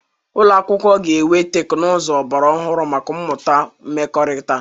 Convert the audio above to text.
Ụlọ akwụkwọ ga-enwe teknụzụ ọgbara ọhụrụ maka mmụta mmekọrịta.